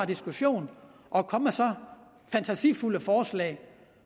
diskussion at komme med så fantasifulde forslag